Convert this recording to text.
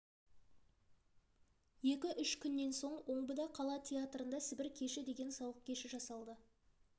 екі-үш күннен соң омбыда қала театрында сібір кеші деген сауық кеші жасалды